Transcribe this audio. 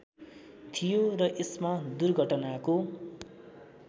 थियो र यसमा दुर्घटनाको